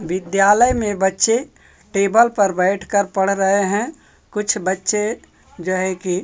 विद्यालय में बच्चे टेबल पर बैठकर पढ़ रहे हैं कुछ बच्चे जो है की--